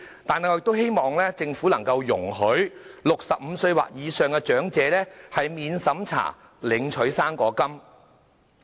但是，我們都希望政府能夠容許65歲或以上的長者免審查領取"生果金"。